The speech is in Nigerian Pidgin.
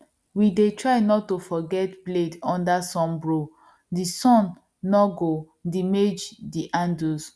we dey try not to forget blade under sunbro the sun nor go demage the handles